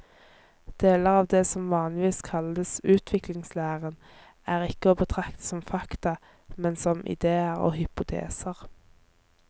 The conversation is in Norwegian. Deler av det som vanligvis kalles utviklingslæren er ikke å betrakte som fakta, men som idéer og hypoteser.